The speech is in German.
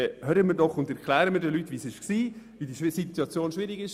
Hören wir doch auf damit und erklären den Leuten, dass die Situation schwierig war.